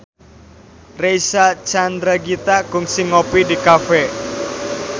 Reysa Chandragitta kungsi ngopi di cafe